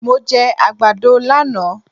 Mo jẹ àgbàdo lánàá.